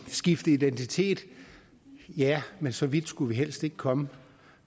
at skifte identitet ja men så vidt skulle vi helst ikke komme